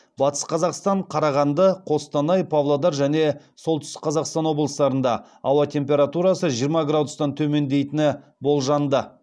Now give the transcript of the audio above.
батыс қазақстан қарағанды қостанай павлодар және солтүстік қазақстан облыстарында ауа температурасы жиырма градустан төмендейтіні болжанды